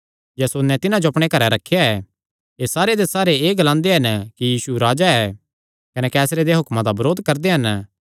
यासोने तिन्हां जो अपणे घरैं रखेया ऐ एह़ सारे दे सारे एह़ ग्लांदे हन कि यीशु राजा ऐ कने कैसरे देयां हुक्मां दा बरोध करदे हन